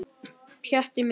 Pjatti minn.